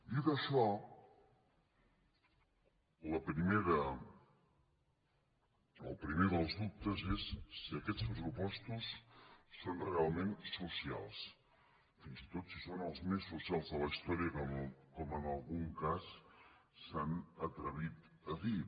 dit això el primer dels dubtes és si aquests pressupostos són realment socials fins i tot si són els més socials de la història com en algun cas s’han atrevit a dir